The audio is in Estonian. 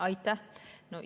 Aitäh!